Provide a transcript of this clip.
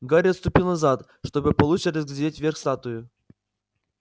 гарри отступил назад чтобы получше разглядеть верх статуи